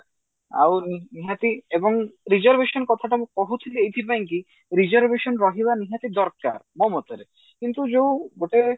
ଆଉ ନିହାତି ଏବଂ reservation କଥାଟା ମୁଁ କହୁଥିଲି ଏଇଥି ପାଇଁ କି reservation ରହିବା ନିହାତି ଦରକାର ମୋ ମତରେ କିନ୍ତୁ ଯୋଉ ଗୋଟେ